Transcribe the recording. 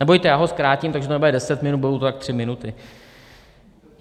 Nebojte, já ho zkrátím, takže to nebude deset minut, budou to tak tři minuty.